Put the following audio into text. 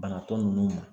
Banatɔ ninnu ma